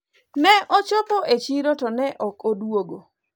ne ochopo e chiro to ne ok oduogo